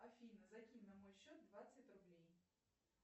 афина закинь на мой счет двадцать рублей